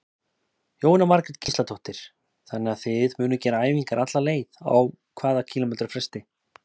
Jóhanna Margrét Gísladóttir: Þannig að þið munuð gera æfingar alla leið, á hvað kílómetra fresti?